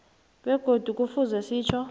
begodu kufuze sitjho